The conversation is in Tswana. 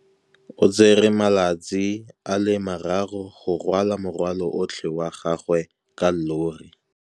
O tsere malatsi a le marraro go rwala morwalo otlhe wa gagwe ka llori.